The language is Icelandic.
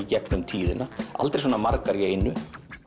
gegnum tíðina aldrei svona margar í einu